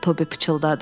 Tobi pıçıldadı.